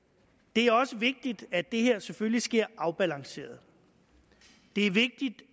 det er også vigtigt at det her selvfølgelig sker afbalanceret det er vigtigt